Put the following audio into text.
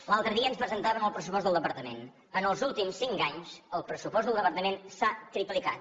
l’altre dia ens presentaven el pressupost del departament els últims cinc anys el pressupost del departament s’ha triplicat